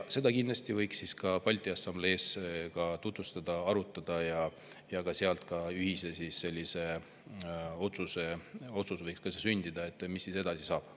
Seda võiks kindlasti ka Balti Assamblees tutvustada ja arutada ning seal võiks sündida ka ühine otsus, mis siis edasi saab.